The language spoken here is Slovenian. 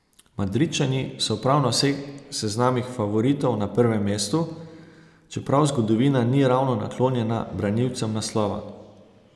Madridčani so prav na vseh seznamih favoritov na prvem mestu, čeprav zgodovina ni ravno naklonjena branilcem naslova.